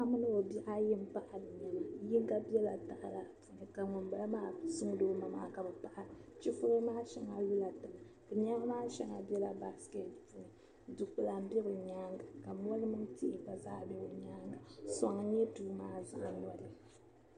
paɣa mini o bihi ayi paɣiri nema yinga bɛla tahili ni puuni ka ŋuni bala maa suŋdi o ma ka bɛ paɣira chifɔɣi maa shɛŋa lola tiŋ nɛma maa shɛŋa bɛla basiketi puuni dugbala bɛ ni maani ka mɔri mini tihi gba zaa bɛ be nyaaŋa suŋ nyɛ duu zaani